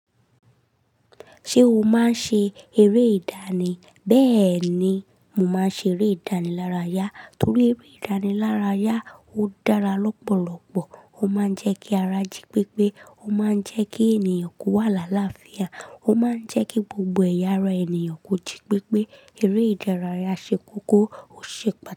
Ṣé o máa ń ṣe eré ìdánì? Bẹ́ẹ̀ ni, mo máa ń ṣe eré ìdánì lára yá. Nítorí eré ìdánì lára yá ó dára lọ́pọ̀lọ́pọ̀. Ó máa ń jẹ́ kí ara jí pépé. Ó máa ń jẹ́ kí ènìyàn kó wà láàláfìà. Ó máa ń jẹ́ kí gbogbo ẹ̀yà ara ènìyàn kò jí pépé. Eré ìdánì lára yá ṣe kókó, ó ṣe é pàtaki.